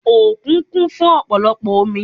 Òkun kún fún ọ̀pọ̀lọpọ̀ omi